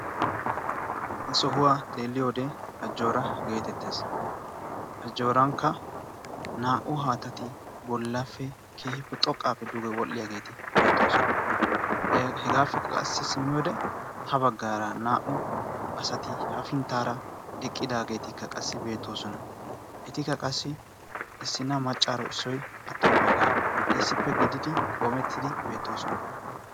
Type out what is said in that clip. ha sohuwaa xeelliyowode ajjoora geetettees. ajjoorankka naa"u haatati bollaffe keehippe xoqqaappe duge wodhdhiyaageeti beettoosona hegaappekka qassi simmi wode ha baggaara naa"u asati hafinttaara eqqidaageetikka qassi beettoosona. etikka qassi issina maccaaro issoi attomaagaa issippe gididi qoomettidi beettoosona.